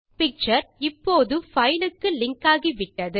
picture இப்போது file க்கு link ஆகிவிட்டது